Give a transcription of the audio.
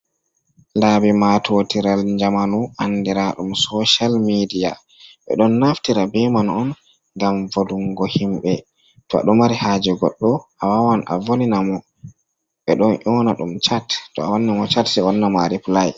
Laɓi Matotiral Jamanu, Anɗira Ɗum Social Meɗia Ɓe Ɗon Naftira Ɓe Man On Gam Volungo Himɓe To Aɗo Mari Haje Goɗɗo Awawan Avolina Mo Ɓe Ɗon O'na Ɗum Chate Awanna Mo Chate Sai Owanna MA Replai.